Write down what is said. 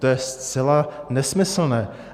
To je zcela nesmyslné.